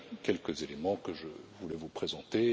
Voilà les quelques éléments que je voulais vous présenter.